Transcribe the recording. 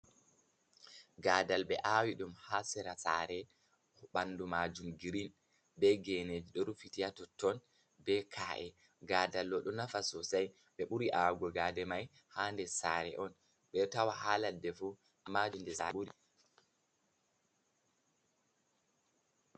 Gaadal ɓe awi ɗum ha sera sare ɓandu majum girin be gene ɗo rufiti totton be ka'e. Gaadal ɗo, ɗo nafa sosai ɓe ɓuri awugo gaade mai ha sare on. Ɓeɗo tawa ɗum ha ladde fu amma nder sare ɓuri.